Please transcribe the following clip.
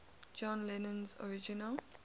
john lennon's original